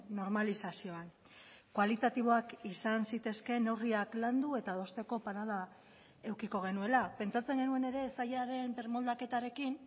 normalizazioan kualitatiboak izan zitezkeen neurriak landu eta adosteko parada edukiko genuela pentsatzen genuen ere sailaren birmoldaketarekin